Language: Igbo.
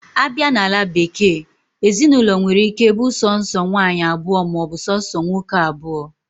Abia na ala bekee, Ezinaụlọ nwere ike bu sonso nwaanyi abuo ma obu sonso nwoke abuo.